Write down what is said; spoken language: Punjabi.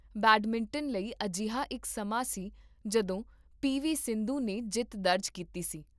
ਬੈਡਮਿੰਟਨ ਲਈ, ਅਜਿਹਾ ਇੱਕ ਸਮਾਂ ਸੀ ਜਦੋਂ ਪੀ ਵੀ ਸਿੰਧੂ ਨੇ ਜਿੱਤ ਦਰਜ ਕੀਤੀ ਸੀ